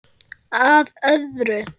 Að öðru.